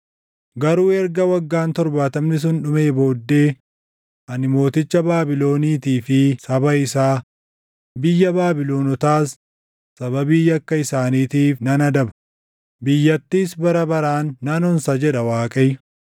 “Garuu erga waggaan torbaatamni sun dhumee booddee ani mooticha Baabiloniitii fi saba isaa, biyya Baabilonotaas sababii yakka isaaniitiif nan adaba; biyyattiis bara baraan nan onsa” jedha Waaqayyo.